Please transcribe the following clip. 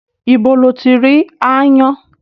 Ibo lo ti rí aáyán?